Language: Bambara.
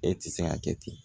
E ti se ka kɛ ten